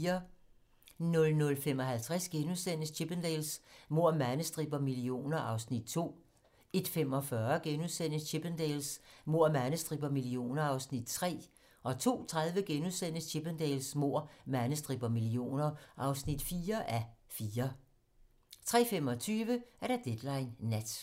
00:55: Chippendales: Mord, mandestrip og millioner (2:4)* 01:45: Chippendales: Mord, mandestrip og millioner (3:4)* 02:30: Chippendales: Mord, mandestrip og millioner (4:4)* 03:25: Deadline nat